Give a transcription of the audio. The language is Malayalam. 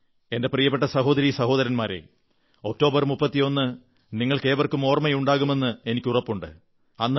എന്റെ പ്രിയപ്പെട്ട സഹോദരീ സഹോദരന്മാരേ ഒക്ടോബർ 31 നിങ്ങൾക്കേവർക്കും ഓർമ്മയുണ്ടാകുമെന്ന് എനിക്ക് ഉറപ്പുണ്ട്